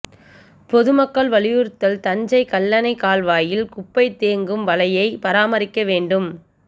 பொதுமக்கள் வலியுறுத்தல் தஞ்சை கல்லணை கால்வாயில் குப்பை தேக்கும் வலையை பராமரிக்க வேண்டும்